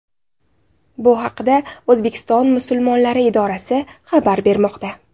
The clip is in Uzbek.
Bu haqda O‘zbekiston musulmonlari idorasi xabar bermoqda .